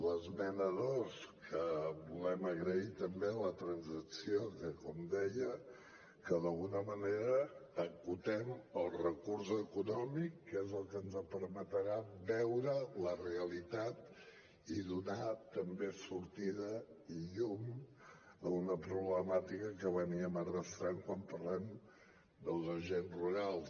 l’esmena dos que volem agrair ne també la transacció que com deia que d’alguna manera acotem el recurs econòmic que és el que ens permetrà veure la realitat i donar també sortida i llum a una problemàtica que arrosseguem quan parlem dels agents rurals